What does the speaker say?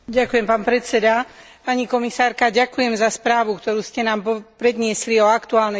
Pani komisárka, ďakujem za správu, ktorú ste nám predniesli o aktuálnej situácii na Haiti.